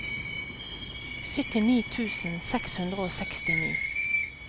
syttini tusen seks hundre og sekstini